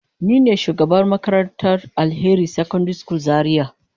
Nine shugabar makarantar Alheri secondary school zaria.